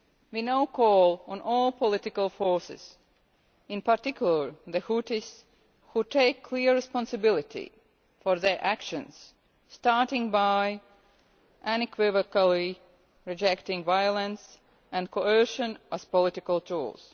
We now call on all political forces, in particular the Houthis, to take clear responsibility for their actions, starting by unequivocally rejecting violence and coercion as political tools.